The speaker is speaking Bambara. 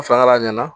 A filala a ɲɛna